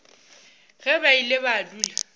ge ba ile ba dula